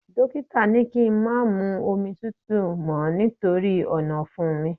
Dókítà ni kí n má máa mu omi tútù mọ́ nítorí ọ̀nàfun mi